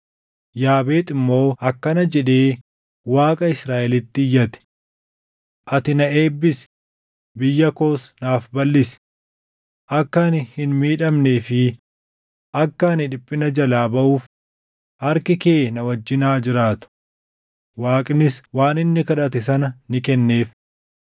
Yaabeex immoo akkana jedhee Waaqa Israaʼelitti iyyate; “Ati na eebbisi; biyya koos naaf balʼisi! Akka ani hin miidhamnee fi akka ani dhiphina jalaa baʼuuf harki kee na wajjin haa jiraatu.” Waaqnis waan inni kadhate sana ni kenneef.